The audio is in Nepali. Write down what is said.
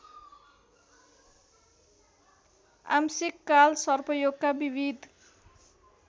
आंशिक कालसर्पयोगका विविध